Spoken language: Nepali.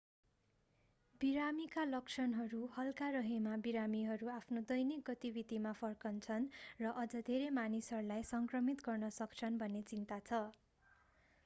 बिरामीका लक्षणहरू हल्का रहेमा बिरामीहरू आफ्नो दैनिक गतिविधिमा फर्कन्छन् र अझ धेरै मानिसहरूलाई सङ्क्रमित गर्न सक्छन्‌ भन्ने चिन्ता छ।